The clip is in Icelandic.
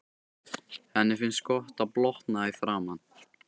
Henni finnst gott að blotna í framan.